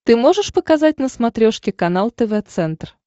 ты можешь показать на смотрешке канал тв центр